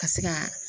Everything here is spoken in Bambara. Ka se ka